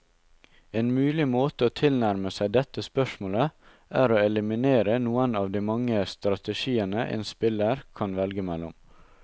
En mulig måte å tilnærme seg dette spørsmålet, er å eliminere noen av de mange strategiene en spiller kan velge mellom.